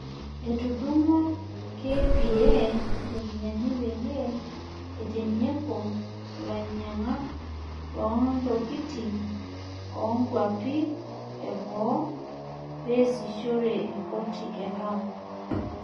Etudunguo KPA iropiyiani peyie eitinyiku ilanyiankak loontokiting oonkuapi e boo peesishore e mpoti e Lamu.